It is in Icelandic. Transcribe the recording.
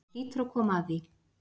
Það hlýtur að koma að því.